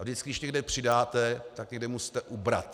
A vždycky když někde přidáte, tak někde musíte ubrat.